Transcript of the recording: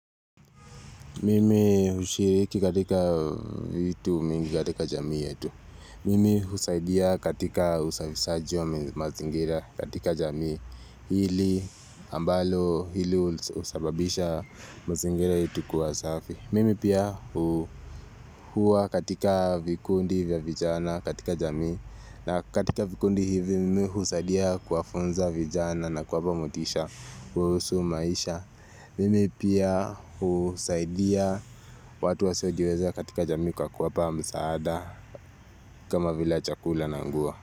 Mimi hushiriki katika vitu mingi katika jamii yetu. Mimi usaidia katika usafisaji wa mazingira katika jamii. Hili ambalo hili husababisha mazingira yetu kuwa safi. Mimi pia huwa katika vikundi vya vijana katika jamii. Na katika vikundi hivi mimi husaidia kuwafunza vijana na kuwapa motisha kuhusu maisha. Mimi pia husaidia watu wasiojiweza katika jamii kwa kuwapamsaada kama vila chakula na nguo.